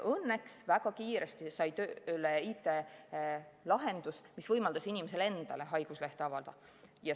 Õnneks saadi väga kiiresti tööle IT-lahendus, mis võimaldas inimesel endale haiguslehte avalda.